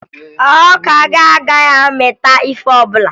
Ọka gị agaghị amịta ihe ọbụla